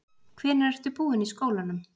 Hvenær ertu búinn í skólanum?